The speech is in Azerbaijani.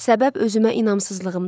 Səbəb özümə inamsızlığımdır.